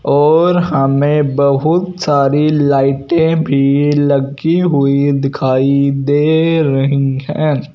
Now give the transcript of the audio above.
और हमे बहुत सारी लाइटें भी लगी हुई दिखाई दे रही है।